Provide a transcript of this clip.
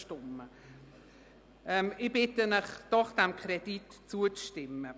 Ich bitte Sie doch, diesem Kredit zuzustimmen.